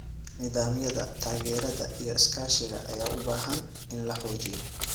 Nidaamyada taageerada iyo iskaashiga ayaa u baahan in la xoojiyo.